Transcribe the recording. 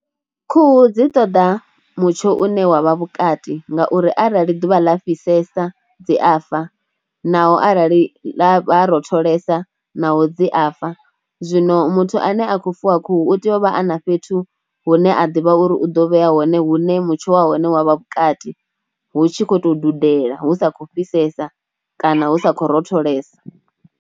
Khuhu dzi ṱoḓa mutsho une wa vha vhukati ngauri arali ḓuvha ḽa fhisesa dzi a fa naho arali ḽa ha rotholela naho dzi a fa. Zwino muthu ane a khou fuwa khuhu u tea u vha a na fhethu hune a ḓivha uri u ḓo vhea hone hune mutsho wa hone wa vha vhukati hu tshi khou tou dudela hu sa khou fhisesa kana hu sa khou rotholela.